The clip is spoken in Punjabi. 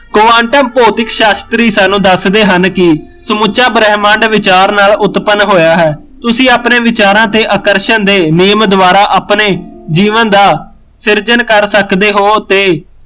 quantum ਭੌਤਿਕ ਸ਼ਾਸਤਰੀ ਸਾਨੂੰ ਦੱਸਦੇ ਹਨ ਕਿ ਸਮੁਚਾ ਬ੍ਰਹਿਮੰਡ ਵਿਚਾਰ ਨਾਲ ਉਤਪਨ ਹੋਇਆ ਹੈ ਤੁਸੀਂ ਆਪਣੇ ਵਿਚਾਰਾਂ ਤੇ ਆਕਰਸ਼ਣ ਦੇ ਨਿਯਮ ਦਵਾਰਾ ਆਪਣੇ ਜੀਵਨ ਦਾ ਸਿਰਜਨ ਸਕਦੇ ਹੋ ਤੇ